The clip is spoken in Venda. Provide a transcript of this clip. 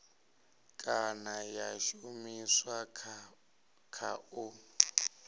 kana ya shumiswa kha u